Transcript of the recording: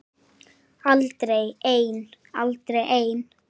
Aldrei ein